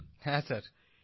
প্রদীপজি হ্যাঁ স্যার